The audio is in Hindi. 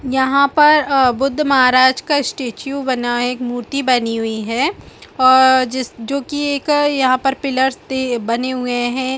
यहाँ पर आ बुद्ध महाराज का स्टैचू बना है एक मूर्ति बनी हुई है और जिस जोकि यह एक पिलर ते बने हुए हैं ।।